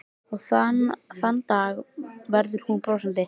Og þann dag verður hún brosandi.